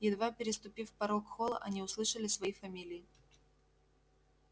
едва переступив порог холла они услышали свои фамилии